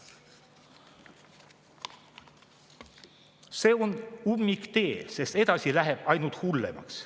See on ummiktee, sest edasi läheb ainult hullemaks.